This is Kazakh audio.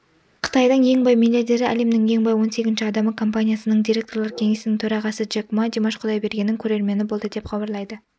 қытайдың ең бай миллиардері әлемнің ең бай он сегізінші адамы компаниясының директорлар кеңесінің төрағасыджек ма димаш құдайбергеннің көрермені болды деп хабарлайды